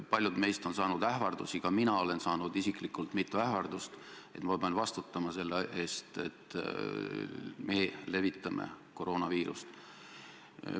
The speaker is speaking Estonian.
Paljud meist on saanud ähvardusi, ka mina olen saanud isiklikult mitu ähvardust, et ma pean vastutama selle eest, et me levitame koroonaviirust.